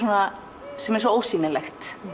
sem er svo ósýnilegt